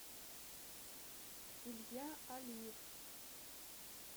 илья алиев